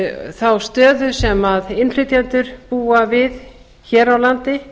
þá stöðu sem innflytjendur búa við hér á landi